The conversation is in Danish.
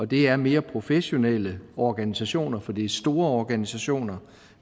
det er mere professionelle organisationer for det er store organisationer